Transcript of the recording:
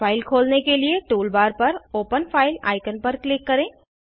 file खोलने के लिए टूल बार पर ओपन फाइल आइकन पर क्लिक करें